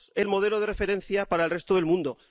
Somos el modelo de referencia para el resto del mundo.